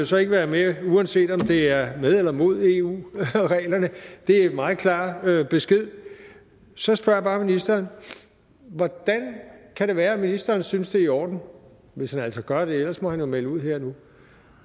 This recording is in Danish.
så ikke være med uanset om det er med eller mod eu reglerne det er en meget klar besked så spørger jeg bare ministeren hvordan kan det være at ministeren synes det er i orden hvis han altså gør det ellers må han jo melde det ud her og nu